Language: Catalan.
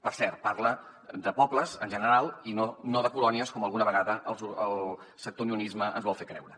per cert parla de pobles en general i no de colònies com alguna vegada el sector de l’unionisme ens vol fer creure